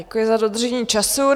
Děkuji za dodržení času.